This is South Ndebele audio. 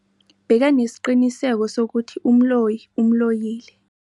Bekanesiqiniseko sokuthi umloyi umloyile.